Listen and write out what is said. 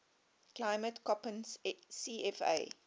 climate koppen cfa